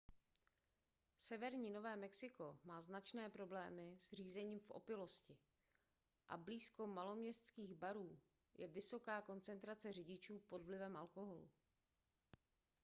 severní nové mexiko má značné problémy s řízením v opilosti a blízko maloměstských barů je vysoká koncentrace řidičů pod vlivem alkoholu